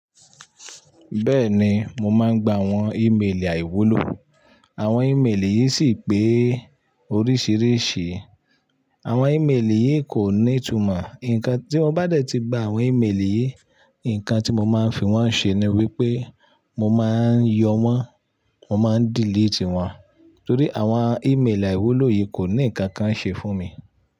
Bẹ́ẹ̀ni, mo máa ń gba àwọn ímeèlì àìwúlò. Àwọn ímeèlì yìí sì pé oríṣìíríṣìí. Àwọn ímeèlì yìí kò ní ìtumọ̀. Nǹkan tí mo bá ti gba àwọn ímeèlì yìí, nǹkan tí mo máa ń fi wọ́n ṣe ni wípé mo máa ń yọ wọ́n, mo máa ń delete wọ́n. Torí àwọn ímeèlì àìwúlò yìí kò ní nǹkan kan ṣe fún mi.